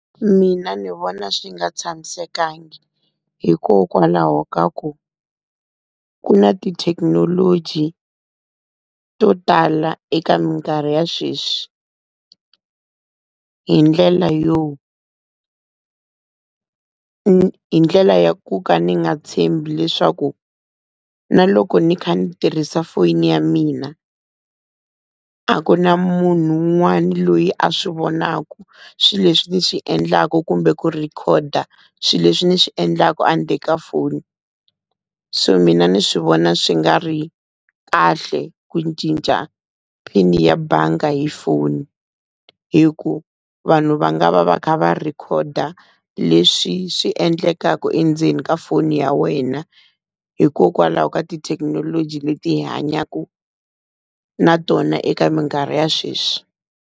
Mina ni vona swi nga tshamisekangi, hikokwalaho ka ku, ku na tithekinoloji to tala eka minkarhi ya sweswi. Hi ndlela yo, hi ndlela ya ku ka ni nga tshembi leswaku na loko ni kha ni tirhisa foni ya mina a ku na munhu un'wana loyi a swi vonaka swileswi ni swi endlaku kumbe ku rhekhoda swilo leswi ni swi endlaku andzeni ka foni. So mina ni swi vona swi nga ri kahle ku cinca pin ya bangi hi foni. Hi ku vanhu va nga va va kha va rhekhoda leswi swi endlekaka endzeni ka foni ya wena. Hikokwalaho ka tithekinoloji leti hi hanyaka na tona eka minkarhi ya sweswi.